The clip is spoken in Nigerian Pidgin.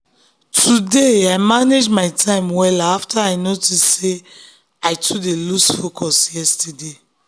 today i manage my time wella after i notice sey i too dey lose um focus yesterday.